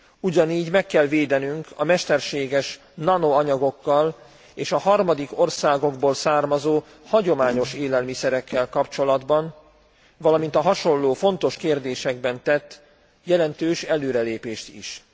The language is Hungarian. Ugyanígy meg kell védenünk a mesterséges nanoanyagokkal és a harmadik országokból származó hagyományos élelmiszerekkel kapcsolatban, valamint a hasonló, fontos kérdésekben tett jelentős előrelépést is.